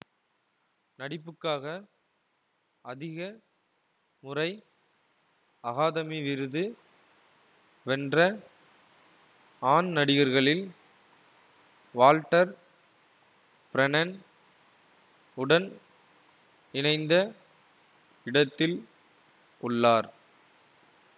நடிப்புக்காக அதிக முறை அகாதமி விருது வென்ற ஆண் நடிகர்களில் வால்டர் ப்ரெனன் உடன் இணைந்த இடத்தில் உள்ளார்